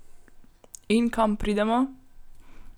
In kam pridemo?